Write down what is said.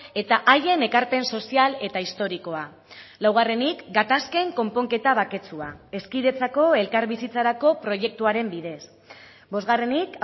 eta haien ekarpen sozial eta historikoa laugarrenik gatazken konponketa baketsua hezkidetzako elkarbizitzarako proiektuaren bidez bosgarrenik